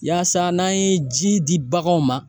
Yaasa n'an ye ji di baganw ma